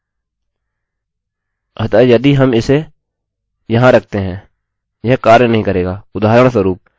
अतः यदि हम इसे यहाँ रखते हैं यह कार्य नहीं करेगा उदाहरणस्वरुप आपके पास पूरी तरह से आउटपुटoutput केवल my name is my name होगाठीक है